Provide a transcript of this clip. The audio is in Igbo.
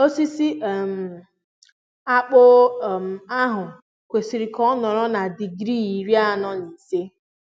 osisi um akpu um ahụ kwesịrị ka ọ nọrọ na digrii iri anọ na ise